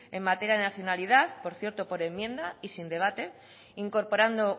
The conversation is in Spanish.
en materia de nacionalidad por cierto por enmienda y sin debate incorporando